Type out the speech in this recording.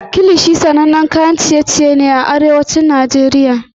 Kilishi sanannen kayan ciye-ciye ne da ake yi a Arewacin Najeriya.